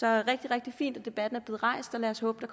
er rigtig rigtig fint at debatten er blevet rejst og lad os håbe